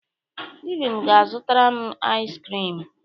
Ibim ga-azụtara m iz krim.